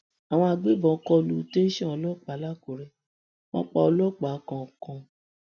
àwọn agbébọn kò lu tẹsán ọlọpàá làkúrè wọn pa ọlọpàá kan kan